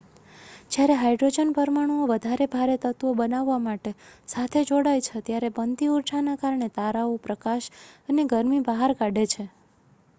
જ્યારે હાયડ્રોજનનાં પરમાણુઓ વધારે ભારે તત્વો બનાવવા માટે સાથે જોડાય છે ત્યારે બનતી ઉર્જાના કારણે તારાઓ પ્રકાશ અને ગરમી બહાર કાઢે છે